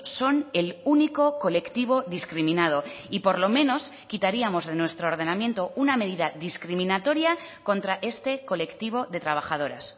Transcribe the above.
son el único colectivo discriminado y por lo menos quitaríamos de nuestro ordenamiento una medida discriminatoria contra este colectivo de trabajadoras